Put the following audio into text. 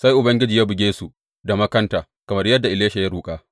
Sai Ubangiji ya buge su da makanta kamar yadda Elisha ya roƙa.